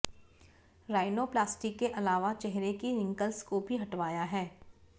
rhinoplasty के अलावा चेहरे की रिंकल्स को भी हटवाया है